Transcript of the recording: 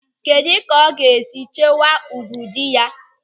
Kedụ ka ọ ga-esi echekwa ùgwù dị ya?